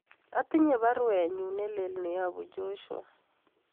Atinye baruenyun nelelach neyobu Joshua